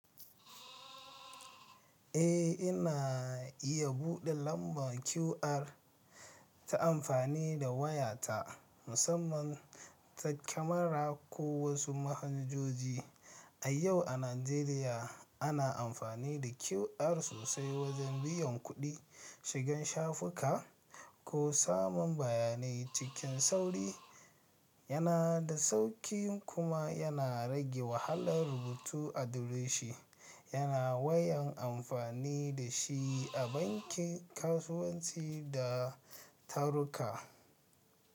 Eh, ina iya buɗe lambar QR ta amfani da wayata musamman ta kamara ko wasu manhajoji. A yau a Najeriya ana amfani da QR sosai wajen biyan kuɗi, shigan shafuka ko samun bayanai cikin sauri. Yana da sauƙi kuma yana rage wahalar rubutu a dureshi yana yawan amfani da shi a banki, kasuwanci da taruka.